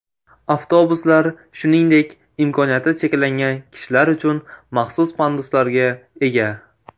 Avtobuslar shuningdek imkoniyati cheklangan kishilar uchun maxsus panduslarga ega.